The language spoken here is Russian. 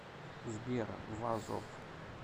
сбер вазов